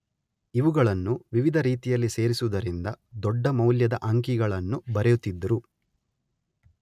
ಇವುಗಳನ್ನು ವಿವಿಧ ರೀತಿಯಲ್ಲಿ ಸೇರಿಸುವುದರಿಂದ ದೊಡ್ಡ ಮೌಲ್ಯದ ಅಂಕಿಗಳನ್ನು ಬರೆಯುತ್ತಿದ್ದರು.